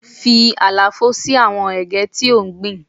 Fi àlàfo sí àwọn Ẹ̀gẹ́ tí ò ń gbìn.